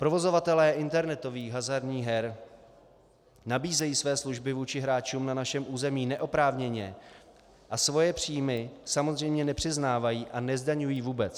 Provozovatelé internetových hazardních her nabízejí své služby vůči hráčům na našem území neoprávněně a svoje příjmy samozřejmě nepřiznávají a nezdaňují vůbec.